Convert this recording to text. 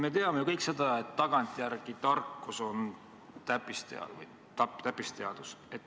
Me kõik teame ju seda, et tagantjärele tarkus on täppisteadus.